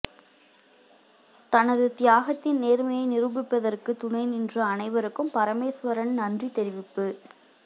தனது தியாகத்தின் நேர்மையை நிரூபிப்பதற்கு துணைநின்ற அனைவருக்கும் பரமேஸ்வரன் நன்றி தெரிவிப்பு